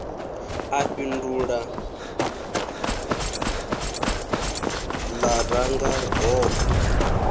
a fhindula lṅa ranga hogo